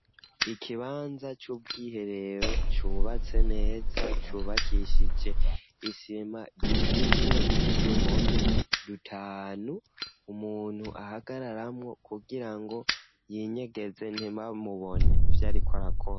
Ikibanza c'ubwiherero, cubatse neza, cubakishije isima, gifise n'uduhome dutanu, umuntu ahagararamwo, kugira ngo yinyegeze, ntibamubone ivyo ariko arakora.